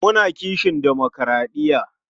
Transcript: Muna kishin demokuraɗiya.